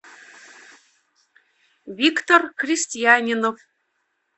виктор крестьянинов